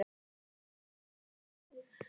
Ég vil fara heim.